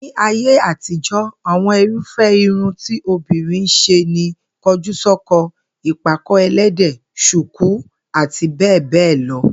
Ní ayé àtijó̩, àwo̩n irúfé̩ irun tí obìnrin ń s̩e ni ko̩júsó̩ko̩, ìpàkó̩-e̩lé̩dè̩, s̩ùkú àti bé̩è̩ béè̩ lo̩